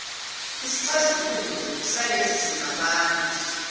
isixazululo salezi zingxabano